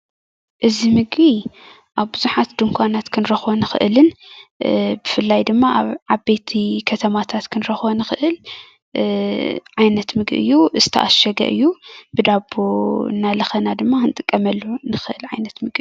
እዚ ምግቢ ኣብ ብዙሓት ድንኳናት ክንረኽቦ እንኽእል ብፍላይ ድማ ኣብ ዓበይቲ ከተማታት ክንረኽቦ ንኽእል ዓይነት ምግቢ እዩ ዝተዓሸገ እዩ ብዳቦ እናለኸና ክንጥቀመሉ ንኽእል ዓይነት ምግቢ እዩ።